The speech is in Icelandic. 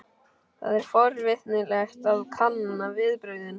Það er forvitnilegt að kanna viðbrögðin.